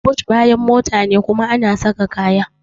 But bayan mota ne kuma ana saka kaya.